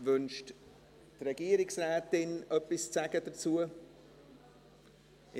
Wünscht die Regierungsrätin, etwas dazu zu sagen?